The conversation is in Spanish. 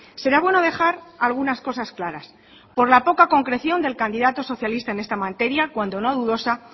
será bueno dejar algunas cosas claras por la poca concreción del candidato socialista en esta materia cuando no dudosa